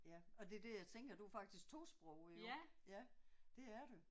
Ja og det er det jeg tænker du er faktisk tosproget jo. Ja det er du